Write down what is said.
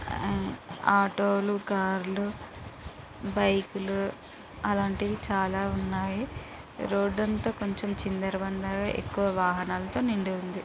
ఆటోలు క్రాలు బైకులు అలాంటివి చాలా ఉన్నాయి రోడ్డుతో కొంచం చిందరవందర ఎక్కువ వాహనాలతో నిండి ఉంది.